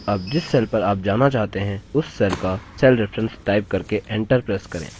अब जिस cell पर आप जाना चाहते हैं उस cell का cell reference type करके enter press करें